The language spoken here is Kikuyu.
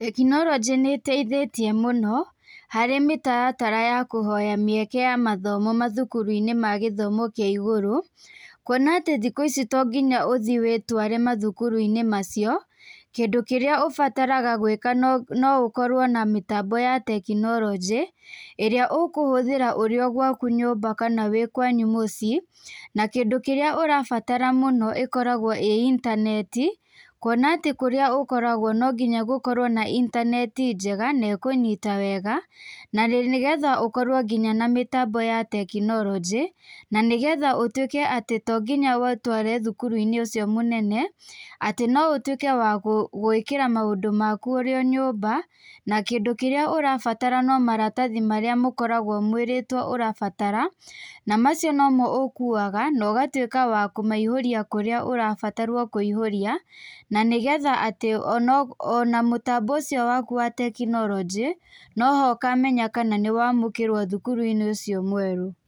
Tekinoronjĩ nĩteithĩtie mũno, harĩ mĩtaratara ya kũhoya mĩeke ya mathomo mathukuru-inĩ ma githomo kia iguru, kuona atĩ thiku ici tongiya ũthie wĩtware mathukuru-inĩ macio, kĩndũ kĩria ũbataraga gwĩka no ũkorwo na mĩtambo ya tekinoronjĩ ĩrĩa ũkũhũthĩra ũrĩ o gwaku nyũmba kana wĩ kwanyu mũcii na kĩndũ kĩrĩa ũrabatara mũno ikorogwo ĩ intaneti kũona atĩ kũrĩa ũkoragwo nonginya gũkorwo na intaneti njega na ĩkũnyita wega nĩgetha ũkorwo na mĩtambo ya tekinoronjĩ na nĩgetha ũtũĩke atĩ tonginya wĩtware thukuru-inĩ ũcio mũnene atĩ no ũtũĩke wa gwĩkĩra maũndũ maku ũrĩ o nyũmba na kĩndũ kĩrĩa ũrabatara no maratathi maria mokoragwo mwĩrĩtwo ũrabatara na macio nomo ũkuaga ũgatwĩka wa kũmaihũrĩa kũrĩa ũrabatarwo kũihũria na nĩgetha atĩ ona mũtambo ũcio waku wa tekinoronjĩ noho ũkamenya atĩ nĩwamũkĩrwo thukuru-inĩ ũcio mwerũ.